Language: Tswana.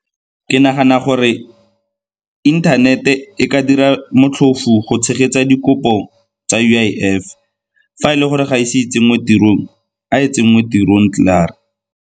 Ke nagana gore internet-e ka dira motlhofu go tshegetsa dikopo tsa U_I_F. Fa e le gore ga ise e tsenngwe tirong, a e tsenngwe tirong klaar.